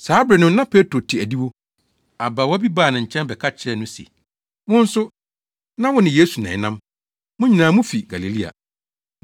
Saa bere no na Petro te adiwo. Abaawa bi baa ne nkyɛn bɛka kyerɛɛ no se, “Wo nso, na wo ne Yesu na ɛnam. Mo nyinaa mufi Galilea.”